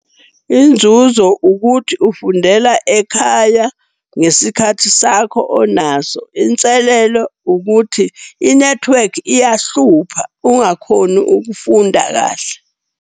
Inzuzo ukuthi ufundela ekhaya ngesikhathi sakho onaso. Inselelo ukuthi inethiwekhi iyahlupha, ungakhoni ukufunda kahle.